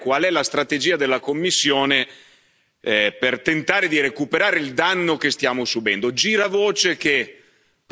La domanda principale è qual è la strategia della Commissione per tentare di recuperare il danno che stiamo subendo?